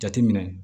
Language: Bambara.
Jateminɛ